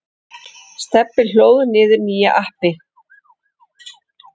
Stebbi hlóð niður nýju appi.